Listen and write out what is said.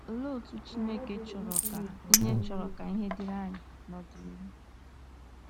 Olee otú Chineke chọrọ ka ihe chọrọ ka ihe dịrị anyị n’ọdịnihu?